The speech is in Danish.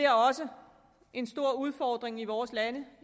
også en stor udfordring i vores lande